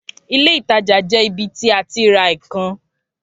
Ilé ìtajà jẹ ibi ti a ti ra ìkan